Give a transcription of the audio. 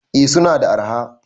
eh suna da arha